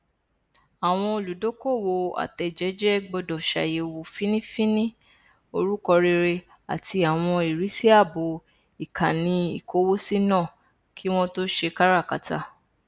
àwọn olùdókòwò atẹẹjẹjẹ gbọdọ ṣàyẹwò fínnífínní orúkọ rere àti àwọn ìrísí ààbò ikanniikowosi náà kí wọn tó ṣe káràkátà